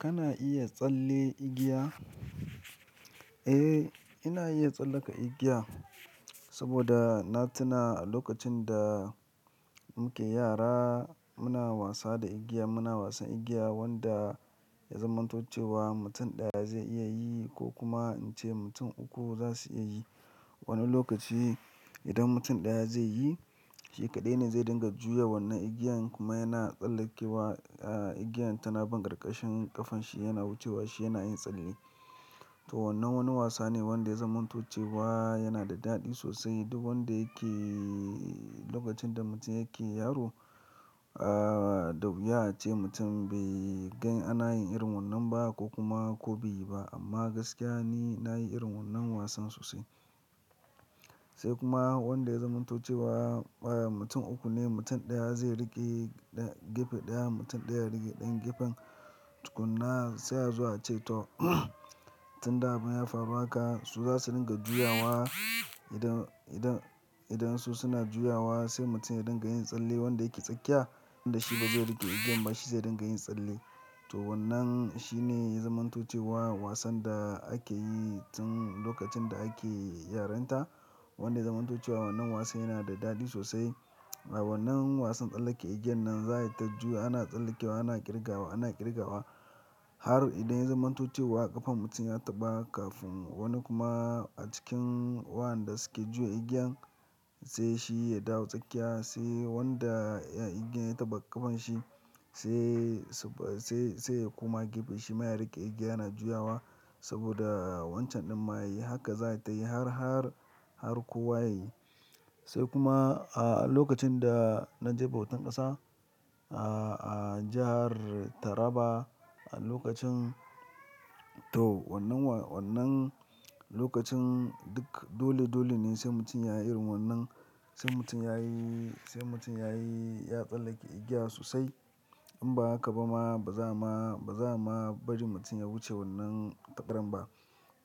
Kana iya tsalle igiya? Eh, ina iya tsallaka igiya saboda na tuna a lokacin da muke yara muna wasa da igiya. Muna wasan igiya wanda ya zaman tucewa mutum ɗaya zai iya yi ko kuma in ce mutum uku za su iya yi. Wani lokaci idan mutum ɗaya zai yi, shi kaɗai ne zai dinga juya wannan igiyan kuma yana tsallakewa igiyan. Tanabun ƙarƙashin ƙafan shi yana wucewa, shi yana yin tsalle. To wannan wani wasa ne wanda ya zama na tucewa yana da daɗi sosai. Duk wanda yake lokacin da mutum yake yaro, aa, da wuya a ce mutum bai gan ana yin irin wannan ba ko kuma ko bai yi ba. Amma gaskiya ne na yi irin wannan wasan sosai. Sai kuma wanda ya zama na tucewa mutum uku ne. Mutum ɗaya zai riƙe gefe ɗaya, mutum ɗaya ya riƙe ɗan gefen tukuna sai aa zo a ce to tun da abin ya faru haka su za su dinga juyawa. Idan, idan, idan su suna juyawa sai mutum ya dinga yin tsalle wanda yake tsakiya. Wanda shi ba zai riƙe igiyan ba shi zai dinga yin tsalle. To wannan shi ne ya zama na tucewa wasan da ake yi tun lokacin da ake yaranta. Wanda ya zama na tucewa wannan wasa yana da daɗi sosai. Wannan wasan tsallake igiyan nan za ta juya ana tsallakewa, ana ƙirgawa, ana ƙirgawa har idan ya zama na tucewa ƙafan mutum ya taɓa kafin wani kuma a cikin waɗanda suke juya igiyan sai shi ya dawo tsakiya. Sai wanda igiyan ya taɓa ƙafan shi sai sai, sai ya kuma gefe shi ma ya riƙe igiya yana juyawa saboda wancan ɗan ma ya yi. Haka za ta yi har, har, har kowa ya yi. Sai kuma a lokacin da na je bautan ƙasa a, a jahar Taraba a lokacin to wannan wa-- wannan lokacin duk dole dole ne sai mutum ya yi irin wannan. Sai mutum ya yi, sai mutum ya yi ya tsallake igiya sosai. In ba haka ba ma ba za ma, ba za ma bari mutum ya wuce wannan takaran ba.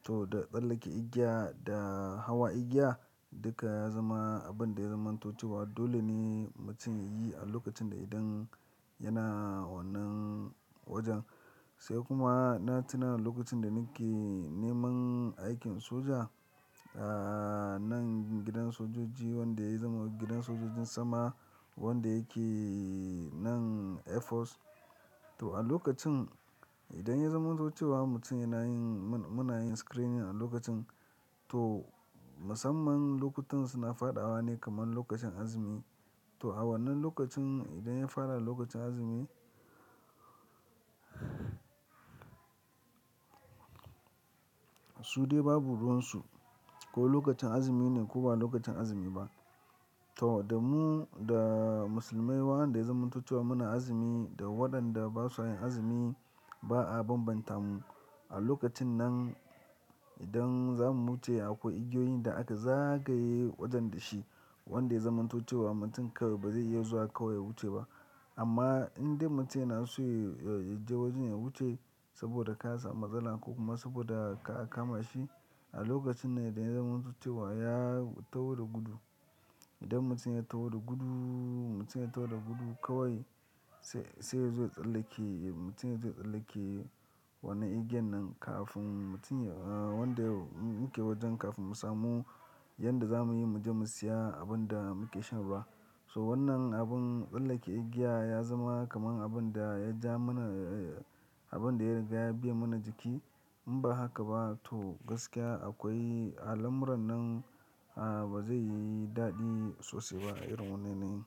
To da tsallake igiya da hawa igiya duka ya zama abin da ya zama na tucewa dole ne mutum ya yi a lokacin da idan yana wannan wajen. Sai kuma na tuna lokacin da nake neman aikin soja, aa, nan gidan sojoji wanda ya zama gidan sojojin sama wanda yake nan Air Force. To a lokacin idan ya zama na tucewa mutum yana yin muna yin screening a lokacin to musamman lokutan suna faɗawa ne kamar lokacin azumi. To a wannan lokacin idan ya fara lokacin azumi su dai babu ruwan su. Ko lokacin azumi ne ko ba lokacin azumi ba. To da mu da musulmai waɗanda ya zama na tucewa muna azumi da waɗanda ba su yin azumi ba a bambanta mu. A lokacin nan idan za mu wuce akwai igiyoyin da aka zagaye wajen da shi wanda ya zama na tucewa mutum kawai ba zai iya zuwa kawai ya wuce ba. Amma idan mutum yana so ya je wajen ya wuce saboda ka samu matsala ko kuma saboda kar a kama shi, a lokacin ne idan ya zama na tucewa ya taho da gudu. Idan mutum ya taho da gudu, mutum ya taho da gudu kawai sai, sai ya zo tsallake. Mutum ya zo tsallake wannan igiyan nan kafin mutum ya-- wanda muke wajen kafin mu samu yadda za mu yi mu je mu siya abin da muke shan ruwa. So wannan abun tsallake igiya ya zama kamar abin da ya ja mana abin da ya riƙe ya biya mana jiki. In ba haka ba to gaskiya akwai alamuran nan ba zai yi daɗi sosai ba a irin wannan yanayi.